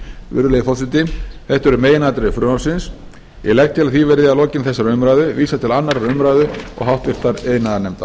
virðulegi forseti þetta eru meginatriði frumvarpsins ég legg til að því verði að lokinni þessari umræðu vísað til annarrar umræðu og háttvirtur iðnaðarnefndar